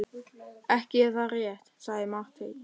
Ekki er það rétt, sagði Marteinn.